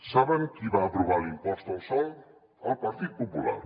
saben qui va aprovar l’impost al sòl el partit popular